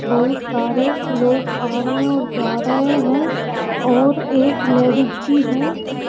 बहुत सारे लोग आ रहे है और जा रहे है और एक लेडिज भी है।